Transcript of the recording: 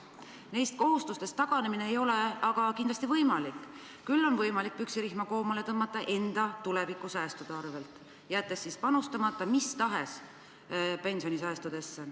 Neist kohustustest taganemine ei ole kindlasti võimalik, küll on võimalik püksirihma koomale tõmmata enda tulevikusäästude arvel, jättes panustamata mis tahes pensionisäästudesse.